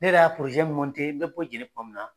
Ne de y'a porozɛ mɔntɛ, n bɛ Jɛnɛ tuma min na.